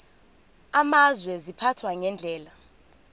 amazwe ziphathwa ngendlela